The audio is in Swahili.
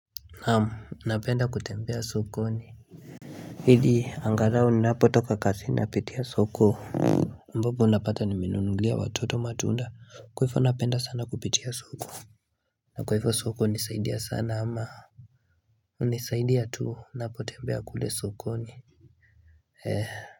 Naam, napenda kutembea sokoni ili, angalau ninapotoka kasi napita soko ambapo unapata nimenunulia watoto matunda kwa hifo napenda sana kupitia soko na kwa hifo soko hunisaidia sana ama unisaidia tu, napotembea kule sokoni.